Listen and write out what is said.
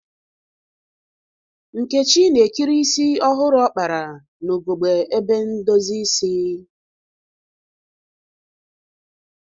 Nkechi na-ekiri isi ọhụrụ ọ kpara n'ugegbe ebe ndozi isi.